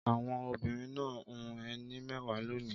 Àwọn obìnrin náà hun ẹní mẹ́wàá lónìí.